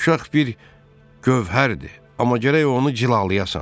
Uşaq bir gövhərdir, amma gərək onu cilalayasan.